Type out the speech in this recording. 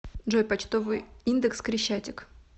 джой почтовый индекс крещатик